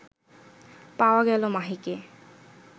পাওয়া গেল মাহিকে